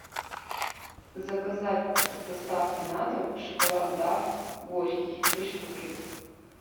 заказать с доставкой на дом шоколад дав горький три штуки